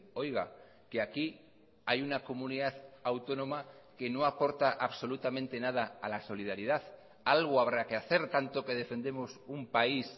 oiga que aquí hay una comunidad autónoma que no aporta absolutamente nada a la solidaridad algo habrá que hacer tanto que defendemos un país